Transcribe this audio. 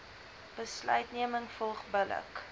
besluitneming volg billik